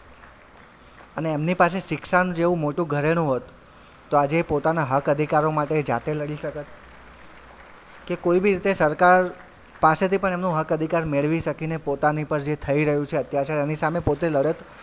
અને એમની પાછળ શિક્ષણ જેવું મોટું ઘરેણું હોત તો આજે એ પોતાનાં હક અધિકારો માટે જાતે લડી શકત કે કોઈ બી રીતે સરકાર પાસેથી પણ એમનું હક અધિકાર મેળવી શકીને પોતાની પર જે થઇ રહ્યું છે અત્યાચાર એની સામે પોતે લડત.